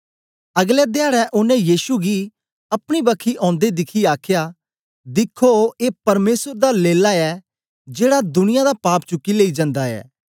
अगलै धयाडै ओनें यीशु गी अपनी बक्खी औंदे दिखियै आखया दिख्खो ए परमेसर दा लेल्ला ऐ जेड़ा दुनियां दा पाप चुकी लेई जंदा ऐ